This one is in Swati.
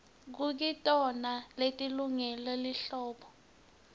kukitona leti lungele lihlobo